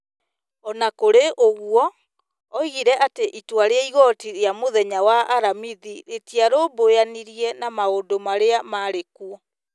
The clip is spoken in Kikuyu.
O na kũrĩ ũguo, oigire atĩ itua rĩa igooti rĩa mũthenya wa aramithi rĩtiarũmbũyanirie na maũndũ marĩa marĩ kuo.